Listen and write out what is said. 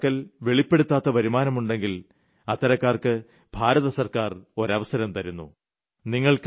ആരുടെയെങ്കിലും പക്കൽ വെളിപ്പെടുത്താത്ത വരുമാനമുണ്ടെങ്കിൽ അത്തരക്കാർക്ക് ഭാരത സർക്കാർ ഒരവസരം തരുന്നു